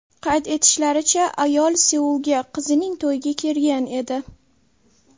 Qayd etishlaricha, ayol Seulga qizining to‘yiga kelgan edi.